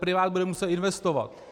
Privát bude muset investovat.